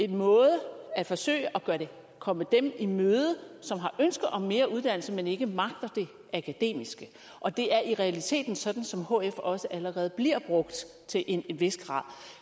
måde at forsøge at komme dem i møde som har ønske om mere uddannelse men ikke magter det akademiske og det er i realiteten sådan som hf også allerede bliver brugt til en vis grad